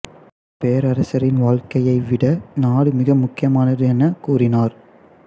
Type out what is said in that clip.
பேரரசரின் வாழ்க்கையைவிட நாடு மிக முக்கியமானது என உ கூறினார்